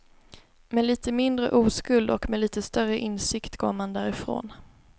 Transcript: Med lite mindre oskuld och med lite större insikt går man därifrån.